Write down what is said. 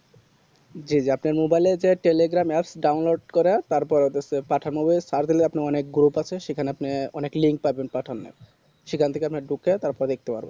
জি জি আপনার mobile এ যে telegram apps download করো তার পরে দিসে পাঠান movie তার হলো আপনার অনেক group আছে সেখানে আপনি অনেক link পাবেন পাঠানের সেখান থেকে আপনার ঢুকে তার পরে দেখতে পারবেন